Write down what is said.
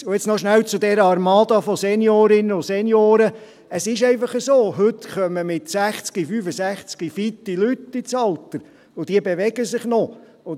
Und nun noch rasch zu dieser Armada von Seniorinnen und Senioren: Es ist einfach so, dass heute mit 60 oder 65 Jahren Leute ins Alter kommen, die fit sind und sich noch bewegen.